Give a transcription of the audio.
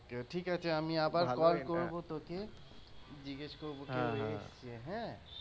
ঠিক আছে আমি আবার call করবো তোকে, জিজ্ঞেস করবো কেউ এসেছে হ্যাঁ।